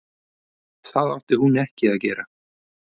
Það átti hún ekki að gera.